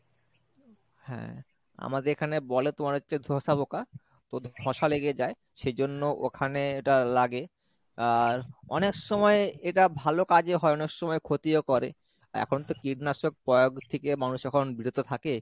হ্যাঁ আমাদের এখানে বলে তোমার হচ্ছে ধোসা পোঁকা তো ধসা লেগে যায় সেজন্য ওখানে এটা লাগে আর অনেক সময় এটা ভালো কাজে হয় অনেক সময় ক্ষতি ও করে এখন তো কীটনাশক প্রয়োগ থেকে মানুষ এখন বিরত থাকে।